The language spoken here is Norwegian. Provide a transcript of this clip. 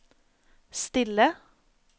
stille